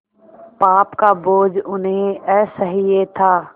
पाप का बोझ उन्हें असह्य था